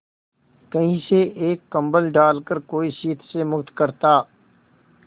कहीं से एक कंबल डालकर कोई शीत से मुक्त करता